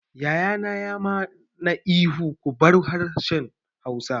Yaya na ya ma na ihu 'Ku bar harshen Hausa'!